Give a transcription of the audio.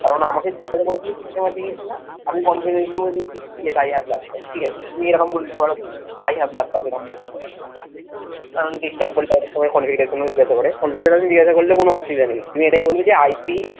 কারন আমাকে জিজ্ঞাসা করেছিলো system আছে কি না আমি confidently বলে দিয়েছি yes I have laptop ঠিক আছে? তুমি এরকম বলে দিতে পারো I have laptop এরম বলে দিতে পারো কারন desktop বললে হয়তো সবাই configuration ও জিজ্ঞাসা করে configuration জিজ্ঞাসা করলে কোনো অসুবিধা নেই, তুই এটাই বলবি যে